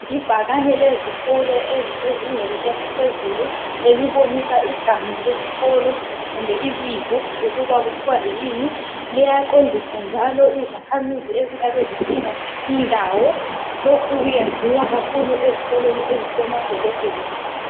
lbhakani lezikolo ezisezingeni eliphezulu elibonisa igama lesikolo kumbe ibizo ukuba kuthiwa yini. Liyaqondisa njalo izakhamizi ezingabe zidinga indawo. Lokhu kuyenziwa kakhulu ezikolweni ezisemadolobheni.